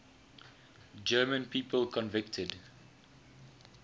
german people convicted